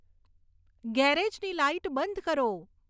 ગેરેજની light બંધ કરો